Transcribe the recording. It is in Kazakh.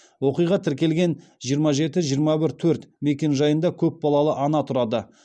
оқиға тіркелген жиырма жеті жиырма бір төрт мекенжайында көп балалы ана тұрады